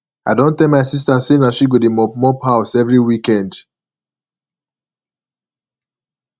i don tell my sista sey na she go dey mop mop house every weekend